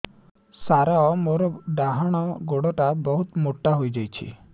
ସାର ମୋର ଡାହାଣ ଗୋଡୋ ବହୁତ ମୋଟା ହେଇଯାଇଛି